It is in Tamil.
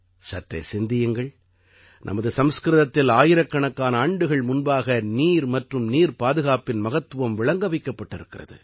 சற்றே சிந்தியுங்கள் நமது சம்ஸ்கிருதத்தில் ஆயிரக்கணக்கான ஆண்டுகள் முன்பாக நீர் மற்றும் நீர் பாதுகாப்பின் மகத்துவம் விளங்க வைக்கப்பட்டிருக்கிறது